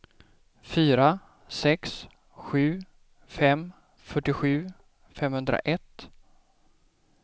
fyra sex sju fem fyrtiosju femhundraett